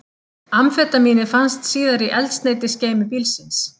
Amfetamínið fannst síðar í eldsneytisgeymi bílsins